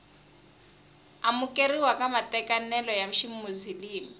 amukeriwa ka matekanelo ya ximuzilimi